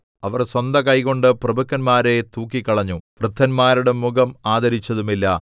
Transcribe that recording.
അവർ സ്വന്ത കൈകൊണ്ട് പ്രഭുക്കന്മാരെ തൂക്കിക്കളഞ്ഞു വൃദ്ധന്മാരുടെ മുഖം ആദരിച്ചതുമില്ല